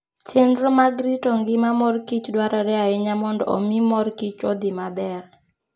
Chenro mag rito ngima mor kich dwarore ahinya mondo omi mor kich odhi maber.